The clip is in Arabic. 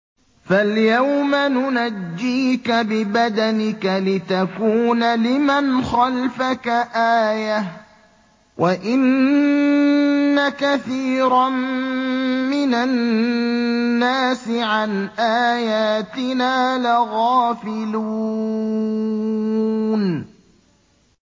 فَالْيَوْمَ نُنَجِّيكَ بِبَدَنِكَ لِتَكُونَ لِمَنْ خَلْفَكَ آيَةً ۚ وَإِنَّ كَثِيرًا مِّنَ النَّاسِ عَنْ آيَاتِنَا لَغَافِلُونَ